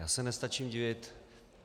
Já se nestačím divit.